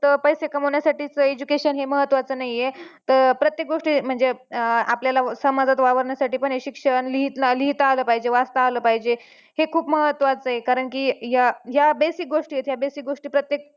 पैसे कामावण्यासाठीच education हे महत्त्वाचं नाहीये तर प्रत्येक गोष्टी म्हणजे आपल्याला समाजात वावरण्यासाठी पण हे शिक्षण लिहिता आलं पाहिजे वाचता आलं पाहिजे हे खूप महत्त्वाचं आहे कारणकी या या basic गोष्टी आहेत या basic गोष्टी प्रत्येक